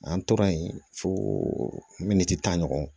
An tora yen fo tan ɲɔgɔn kɔ